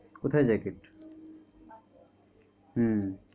কোথায় jacket? হুম।